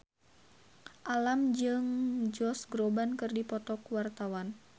Alam jeung Josh Groban keur dipoto ku wartawan